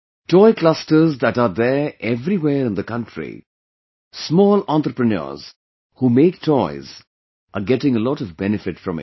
Toy clusters that are there everywhere in the country, small entrepreneurs who make toys, are getting a lot of benefit from it